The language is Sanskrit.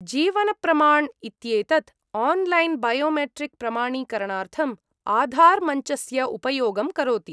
जीवनप्रमाण् इत्येतत् आन्लैन् बायोमेट्रिक् प्रमाणीकरणार्थम् आधार्मञ्चस्य उपयोगं करोति।